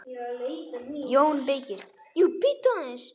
JÓN BEYKIR: Jú, bíddu aðeins!